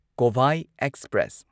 Kovai express